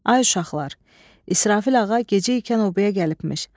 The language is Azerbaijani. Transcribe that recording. Ay uşaqlar, İsrafil ağa gecəykən obaya gəlibmiş.